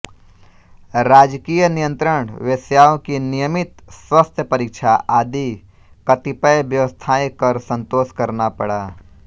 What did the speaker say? राजकीय नियंत्रण वेश्याओं की नियमित स्वास्थ्यपरीक्षा आदि कतिपय व्यवस्थाएँ कर संतोष करना पड़ा